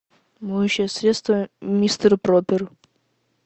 моющее средство мистер пропер